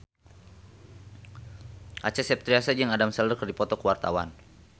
Acha Septriasa jeung Adam Sandler keur dipoto ku wartawan